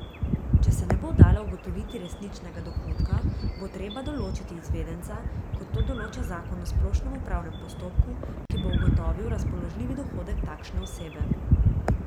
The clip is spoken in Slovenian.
Če se ne bo dalo ugotoviti resničnega dohodka, bo treba določiti izvedenca, kot to določa zakon o splošnem upravnem postopku, ki bo ugotovil razpoložljivi dohodek takšne osebe.